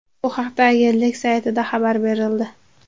Bu haqda agentlik saytida xabar berildi .